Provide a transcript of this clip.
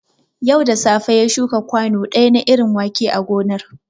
Yau da safe ya shuka kwanu ɗaya na irin wake a gonar